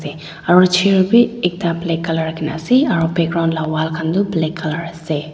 aru chair bi ekta black colour rakhina ase aru background la wall khan toh black colour ase.